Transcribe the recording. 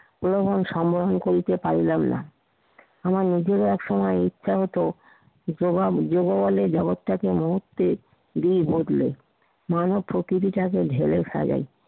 পুনরায় সংগ্রহ করিতে পারিলাম না। আমার বেশিরভাগ সময় ইচ্ছা হতো, জবাব দিবো বলে জগৎটাকে এ মুহূর্তে দিই বদলে মানুষ প্রকৃতিটাকে ঢেলে ফেলে